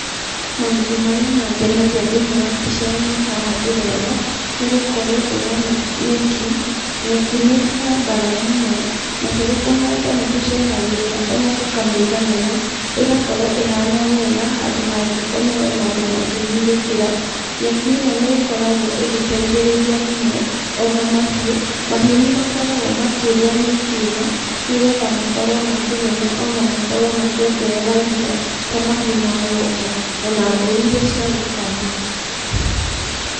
Maũndũ marĩa mangenagia thĩinĩ wa mbica ĩno haha ndĩrona nĩgũkorwo ndĩrona nyeki. Nyeki nĩtũhandaga mũno na tũrĩ kũhanda nĩtũcehagĩrĩra ona tũkamĩiganania ĩgakorwo ĩhana wega handũ hangĩkomerwo na andũ mangĩhurũkĩra. Nyeki ĩno nĩkoragwo ĩgĩteithĩrĩria mũno ona mahĩũ, mahiũ nĩmakoragwo makĩrĩa nyeki ĩno nĩgetha makorwo makĩhũna na makorwo makĩongerera iriya ta mahiũ ma ng'ombe ona mbũri iria cia gũkamwo.